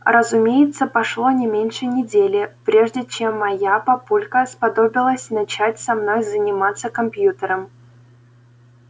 разумеется прошло не меньше недели прежде чем моя папулька сподобилась начать со мной заниматься компьютером